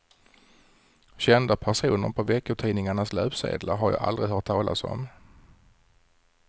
Kända personer på veckotidningarnas löpsedlar har jag aldrig hört talas om.